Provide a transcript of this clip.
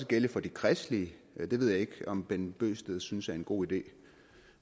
gælde for de kristelige og det ved jeg ikke om herre bent bøgsted synes er en god idé